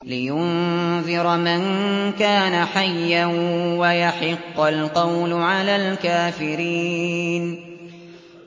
لِّيُنذِرَ مَن كَانَ حَيًّا وَيَحِقَّ الْقَوْلُ عَلَى الْكَافِرِينَ